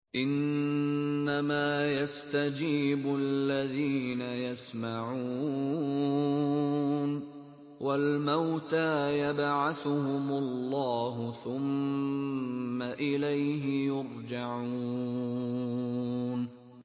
۞ إِنَّمَا يَسْتَجِيبُ الَّذِينَ يَسْمَعُونَ ۘ وَالْمَوْتَىٰ يَبْعَثُهُمُ اللَّهُ ثُمَّ إِلَيْهِ يُرْجَعُونَ